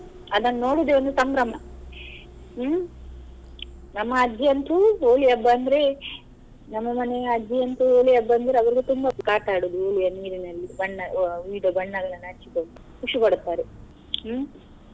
ಅದನ್ನು ನೋಡುದೆ ಒಂದು ಸಂಭ್ರಮ ಹ್ಮ್ ನಮ್ಮ ಅಜ್ಜಿ ಅಂತೂ Holi ಹಬ್ಬ ಅಂದ್ರೆ ನಮ್ಮ ಮನೆಯ ಅಜ್ಜಿ ಅಂತೂ Holi ಹಬ್ಬ ಅಂದ್ರೆ ಅವ್ರಿಗೆ ತುಂಬ ಆಟಾಡುದು Holi ಯಾ ನೀರಿನಲ್ಲಿ ಬಣ್ಣ ಅ ವಿವಿಧ ಬಣ್ಣಗಳನ್ನು ಹಚ್ಚಿಕೊಂಡು ಖುಷಿ ಪಡುತ್ತಾರೆ ಹ್ಮ್.